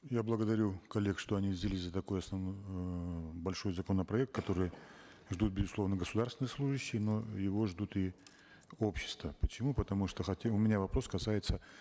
я благодарю коллег что они взялись за такой основной эээ большой законопроект который ждут безусловно государственные служащие но его ждут и общество почему потому что хотим у меня вопрос касается